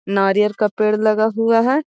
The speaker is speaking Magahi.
नारियल का पेड़ लगा हुआ है।